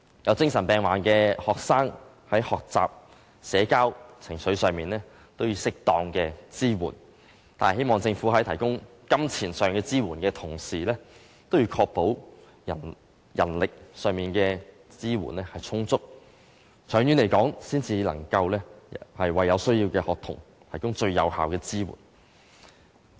有精神病患的學生在學習、社交、情緒上都需要適當的支援，希望政府在提供金錢上的支援的同時，也要確保人力上的支援充足，這樣才能長期為有需要的學童提供最有效的支援。